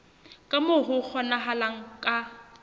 ka moo ho kgonahalang ka